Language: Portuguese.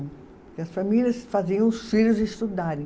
Porque as famílias faziam os filhos estudarem.